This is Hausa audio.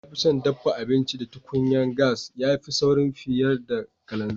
Na fi son daffa abinci da tukunyan gas, ya fi sauri fiyar da kalanzir.